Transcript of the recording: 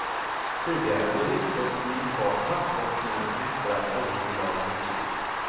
Tidigare blev utrustningen kvar på havsbotten efter att oljebolagen gjort sitt.